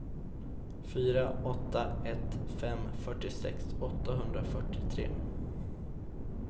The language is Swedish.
fyra åtta ett fem fyrtiosex åttahundrafyrtiotre